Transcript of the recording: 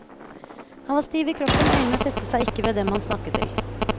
Han var stiv i kroppen, øynene festet seg ikke ved dem han snakket til.